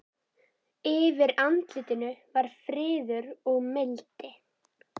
Yfir andlitinu var friður og mildi.